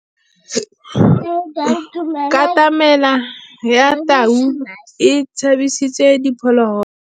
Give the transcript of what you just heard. Katamêlô ya tau e tshabisitse diphôlôgôlô.